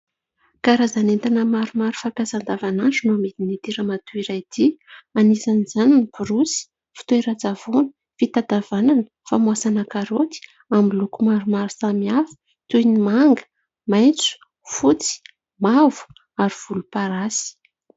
Karazana entana maromaro fampiasa andavan'andro no amidin'ity ramatoa iray ity ; anisan'izany ny borosy fitoeran-tsavony, fitatavanana, famoasana karoty amin'ny loko maromaro samy hafa toy ny manga, maitso, fotsy mavo ary volomparasy.